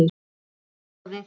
Þið ráðið.